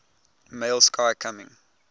male sky coming